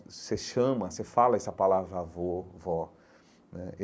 Você chama, você fala essa palavra avô, vó né.